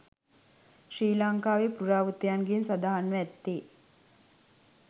ශ්‍රී ලංකාවේ පුරාවෘත්තයන්ගේ සඳහන්ව ඇත්තේ